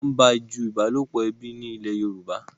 nwọn baju ìbálòpọ̀ ẹbí ẹní ní ilè yorùbá